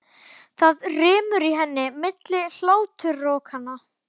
Það rymur í henni milli hláturrokanna.